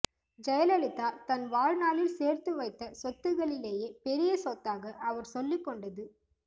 ஜெயலலிதா தன் வாழ்நாளில் சேர்த்து வைத்த சொத்துக்களிலேயே பெரிய சொத்தாக அவர் சொல்லிக் கொண்டது